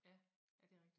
Ja ja det rigtigt